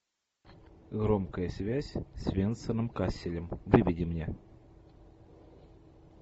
громкая связь с венсаном касселем выведи мне